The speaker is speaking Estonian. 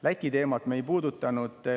Läti teemat me ei puudutanud.